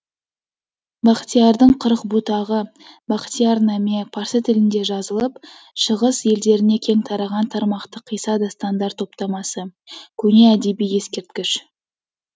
бақтиярдың қырық бұтағы бақтияр наме парсы тілінде жазылып шығыс елдеріне кең тараған тармақты қисса дастандар топтамасы көне әдеби ескерткіш